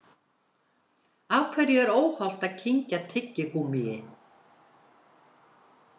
Af hverju er óhollt að kyngja tyggigúmmíi?